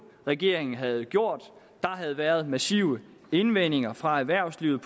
regeringen havde gjort der havde været massive indvendinger fra erhvervslivet